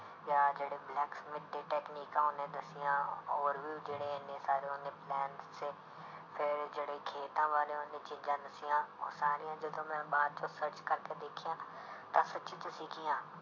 ਜਾਂ ਜਿਹੜੇ blacksmith ਦੀ ਟੈਕਨਿਕਾਂ ਉਹਨੇ ਦੱਸੀਆਂ ਔਰ ਵੀ ਜਿਹੜੇ ਇੰਨੇ ਸਾਰੇ ਉਹਨੇ plan ਦੱਸੇ ਫਿਰ ਜਿਹੜੇ ਖੇਤਾਂ ਬਾਰੇ ਉਹਨੇ ਚੀਜ਼ਾਂ ਦੱਸੀਆਂ ਉਹ ਸਾਰੀਆਂ ਜਦੋਂ ਮੈਂ ਬਾਅਦ ਚੋਂ search ਕਰਕੇ ਦੇਖੀਆਂ ਤਾਂ ਸੱਚੀ 'ਚ ਸੀਗੀਆਂ।